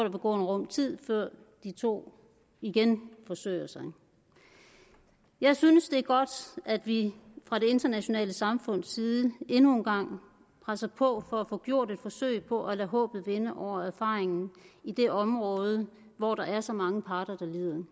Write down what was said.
en rum tid før de to igen forsøger sig jeg synes det er godt at vi fra det internationale samfunds side endnu en gang presser på for at få gjort et forsøg på at lade håbet vinde over erfaringen i det område hvor der er så mange parter der lider når